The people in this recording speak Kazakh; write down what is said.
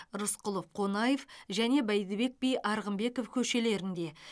рысқұлов қонаев және бәйдібек би арғынбеков көшелерінде